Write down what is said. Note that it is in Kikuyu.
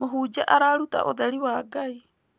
Mũhunjia araruta ũtheri wa Ngai.